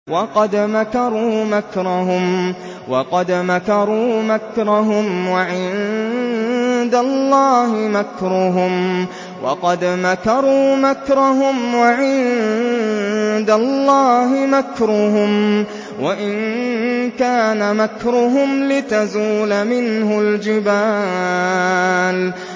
وَقَدْ مَكَرُوا مَكْرَهُمْ وَعِندَ اللَّهِ مَكْرُهُمْ وَإِن كَانَ مَكْرُهُمْ لِتَزُولَ مِنْهُ الْجِبَالُ